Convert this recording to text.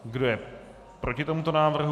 Kdo je proti tomuto návrhu?